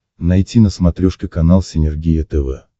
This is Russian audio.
найти на смотрешке канал синергия тв